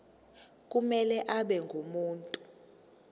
kumele abe ngumuntu